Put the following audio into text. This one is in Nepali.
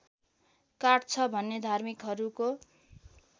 काट्छ भन्ने धार्मिकहरूको